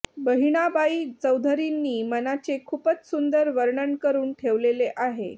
बहिणाबाई चौधरींनी मनाचे खूपच सुंदर वर्णन करून ठेवलेले आहे